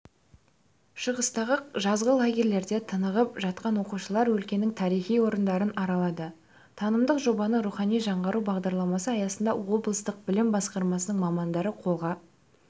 шығыстағы жазғы лагерьлерде тынығып жатқан оқушылар өлкенің тарихи орындарын аралады танымдық жобаны рухани жаңғыру бағдарламасы аясында облыстық білім басқармасының мамандары қолға